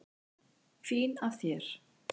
Fín af þér.